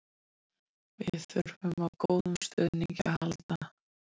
Við þurfum á góðum stuðningi að halda.